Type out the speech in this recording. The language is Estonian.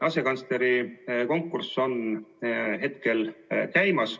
Asekantsleri konkurss on hetkel käimas.